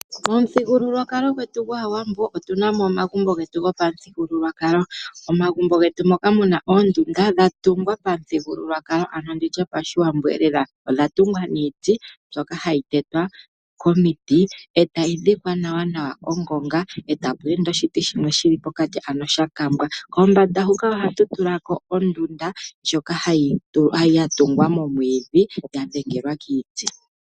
Momuthigululwakalo gwetu gwaawambo otu na mo omagumbo getu go pamuthigululwakalo. Omagumbo getu moka mu na oondunda dha tungwa pamuthigululwakalo anho nditya pashiwambo e lela odha tungwa niiti mbyoka hayi tetwa komiiti etayi dhikwa nawa nawa ongonga eta pu ende oshiti shimwe shili pokati ano sha kambwa ,pombanda huka ohatu tula ko ondunda ndjoka ya tungwa momwiidhi ya dhengelwa kiiti.